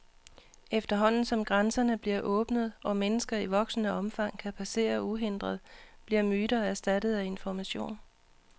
Efterhånden, som grænserne bliver åbnet, og mennesker i voksende omfang kan passere uhindret, bliver myter erstattet af information.